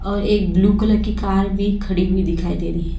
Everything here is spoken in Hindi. और एक ब्लू कलर की कार भी खड़ी हुई दिखाई दे रही--